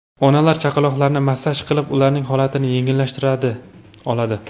Onalar chaqaloqlarini massaj qilib, ularning holatini yengillashtira oladi.